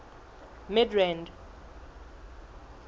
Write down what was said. midrand